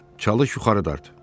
Çalış yuxarı dart.